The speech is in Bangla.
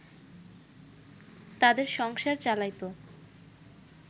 তাদের সংসার চালাইত